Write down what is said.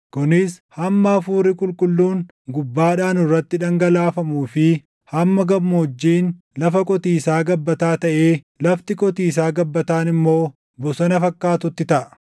kunis hamma Hafuurri Qulqulluun // gubbaadhaa nurratti dhangalaafamuu fi hamma gammoojjiin lafa qotiisaa gabbataa taʼee lafti qotiisaa gabbataan immoo bosona fakkaatutti taʼa.